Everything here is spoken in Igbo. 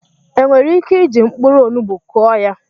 E nwere ike iji mkpụrụ onugbu Kụọ ya?